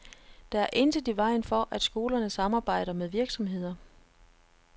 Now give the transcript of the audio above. Der er intet i vejen for, at skolerne samarbejder med virksomheder.